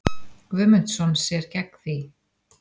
Guðmundsson sér gegn því.